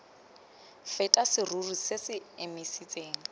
feta serori se se emisitseng